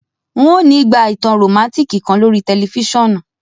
N o ni ígbà ìtàn romantic kan lorí tẹlifisiọnu